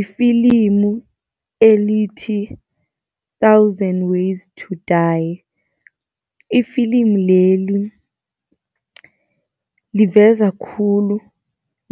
Ifilimu elithi Thousand ways to die. I-film leli liveza khulu